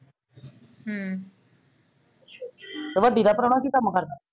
ਤੇ ਵੱਡੀ ਦਾ ਪ੍ਰਾਹੁਣਾ ਕਿ ਕੰਮ ਕਰਦਾ?